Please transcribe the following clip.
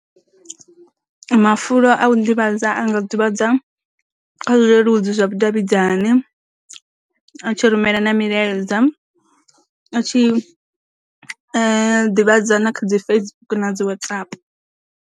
Mafulo a u ḓivhadza a nga ḓivhadza kha zwileludzi zwa vhu davhidzani, a tshi rumela milaedza, a tshi ḓiḓivhadze na kha dzi Facebook na dzi WhatsApp.